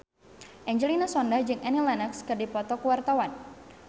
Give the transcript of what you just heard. Angelina Sondakh jeung Annie Lenox keur dipoto ku wartawan